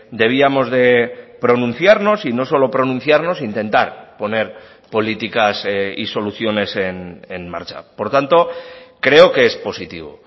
debíamos de pronunciarnos y no solo pronunciarnos intentar poner políticas y soluciones en marcha por tanto creo que es positivo